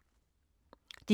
DR1